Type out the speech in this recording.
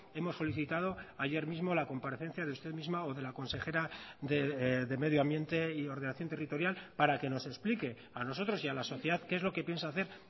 hemos solicitado ayer mismo la comparecencia de usted misma o de la consejera de medio ambiente y ordenación territorial para que nos explique a nosotros y a la sociedad qué es lo que piensa hacer